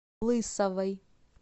лысовой